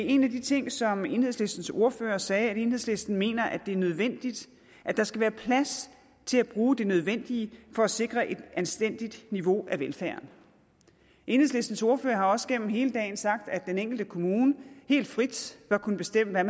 en af de ting som enhedslistens ordfører sagde at enhedslisten mener er nødvendig er at der skal være plads til at bruge det nødvendige for at sikre et anstændigt niveau af velfærd enhedslistens ordfører har også gennem hele dagens debat sagt at den enkelte kommune helt frit bør kunne bestemme hvad